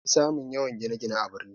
Anfi samun yawan gine-gine a birni